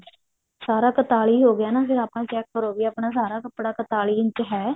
ਸਾਰਾ ਕ੍ਤਾਲੀ ਹੋਗਿਆ ਨਾ ਫ਼ੇਰ ਆਪਾਂ check ਕਰੋ ਵੀ ਆਪਣਾ ਸਾਰਾ ਕੱਪੜਾ ਕ੍ਤਾਲੀ ਇੰਚ ਹੈ